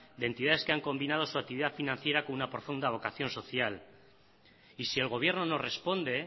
de entidades que han combinado su actividad financiera con una profunda vocación social y si el gobierno no responde